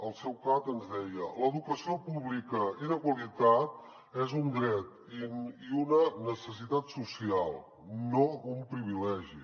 el seu cap ens deia l’educació pública i de qualitat és un dret i una necessitat social no un privilegi